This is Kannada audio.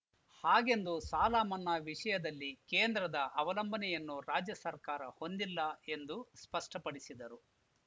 ಹಾಗೆಂದು ಸಾಲ ಮನ್ನಾ ವಿಷಯದಲ್ಲಿ ಕೇಂದ್ರದ ಅವಲಂಬನೆಯನ್ನು ರಾಜ್ಯ ಸರ್ಕಾರ ಹೊಂದಿಲ್ಲ ಎಂದು ಸ್ಪಷ್ಟಪಡಿಸಿದರು